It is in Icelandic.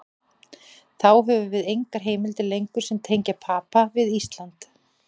Þá höfum við engar heimildir lengur sem tengja Papa við Ísland.